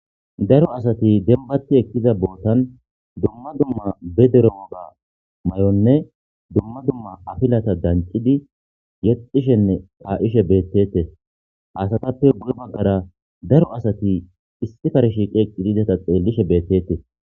Daro asati denbati ekkiza bootan dumma dumma be derooga ma'onne dumma dumma afilata danqidi yexxishenne aa'ishe bettetes hasatappe buge baggara daro asati issi farshiqe eqqidideta xeellishe beettetes.